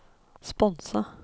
sponse